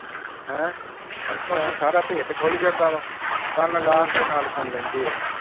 ਹੈਂ ਇੱਥੋਂ ਦੀ ਸਾਰਾ ਭੇਤ ਖੁੱਲ ਜਾਂਦਾ ਵਾ ਕੰਨ ਲਾ ਕੇ ਨਾਲ ਸੁਣ ਲੈਂਦੇ ਆ।